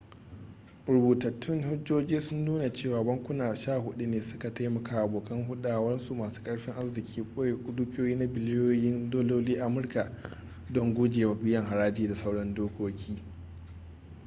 rubutattun hujjoji sun nuna cewa bankuna sha hudu ne su ka taimakawa abokan hurdarsu masu karfin arziki boye dukiyoyi na biliyoyin dalolin amurka don gujewa biyan haraji da sauran dokoki